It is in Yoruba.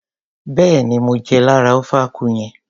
Béèni mo jẹ lára ofe akwu yẹn.